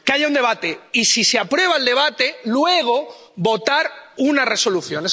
Que haya un debate y, si se aprueba el debate, que luego votemos una resolución.